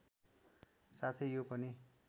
साथै यो पनि